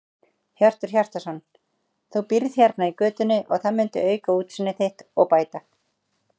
Hjörtur Hjartarson: Þú býrð hérna í götunni og það myndi auka útsýni þitt og bæta?